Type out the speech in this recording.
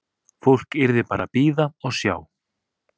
Fólk yrði bara að bíða og sjá.